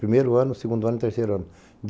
Primeiro ano, segundo ano e terceiro ano.